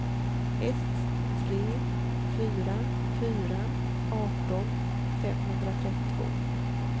ett tre fyra fyra arton femhundratrettiotvå